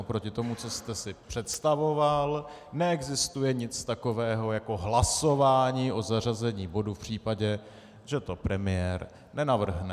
Oproti tomu, co jste si představoval, neexistuje nic takového jako hlasování o zařazení bodu v případě, že to premiér nenavrhne.